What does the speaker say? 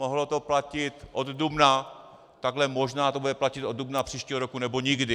Mohlo to platit od dubna, takže možná to bude platit od dubna příštího roku, nebo nikdy.